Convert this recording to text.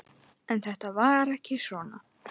En þetta var ekki svona.